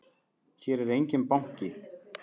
Hér er enginn banki!